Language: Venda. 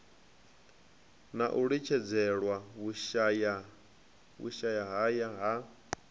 na u litshedzelwa vhushayahaya ha